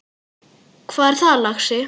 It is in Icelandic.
Hvað er það, lagsi?